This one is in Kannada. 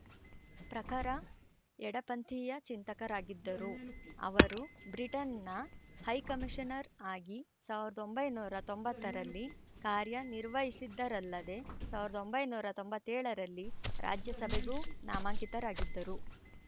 ಪ್ರಖರ ಎಡಪಂಥೀಯ ಚಿಂತಕರಾಗಿದ್ದರು ಅವರು ಬ್ರಿಟನ್‌ನ ಹೈಕಮಿಶನರ್‌ ಆಗಿ ಸಾವಿರದ ಒಂಬೈನೂರ ತೊಂಬತ್ತರಲ್ಲಿ ಕಾರ್ಯನಿರ್ವಹಿಸಿದ್ದರಲ್ಲದೆ ಸಾವಿರದ ಒಂಬೈನೂರ ತೊಂಬತ್ತೇಳರಲ್ಲಿ ರಾಜ್ಯಸಭೆಗೂ ನಾಮಾಂಕಿತರಾಗಿದ್ದರು